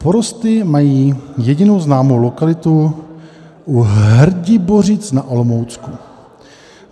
Porosty mají jedinou známou lokalitu u Hrdibořic na Olomoucku.